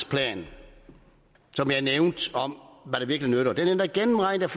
plan som jeg nævnte om hvad der virkelig nytter den er endda gennemregnet